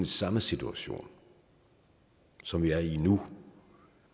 samme situation som vi er i nu